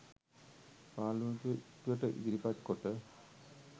පාර්ලිමේන්තුවට ඉදිරිපත් කොට